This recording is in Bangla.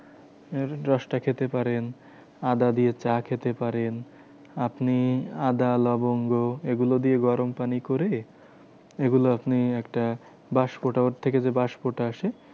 রসটা খেতে পারেন। আদা দিয়ে চা খেতে পারেন। আপনি আদা, লবঙ্গ এগুলো দিয়ে গরম পানি করে এগুলো আপনি একটা বাস্পটা ওর থেকে যে বাষ্পটা আসে